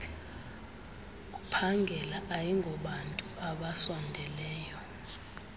uphangela ayingobantu abasondeleyo